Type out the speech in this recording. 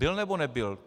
Byl nebo, nebyl?